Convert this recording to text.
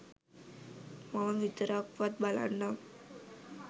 මම විතරක්වත් බලන්නම්.